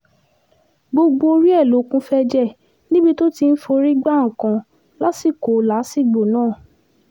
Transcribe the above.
gbogbo orí ẹ̀ ló kún fún ẹ̀jẹ̀ níbi tó ti ń forí gba nǹkan lásìkò làásìgbò náà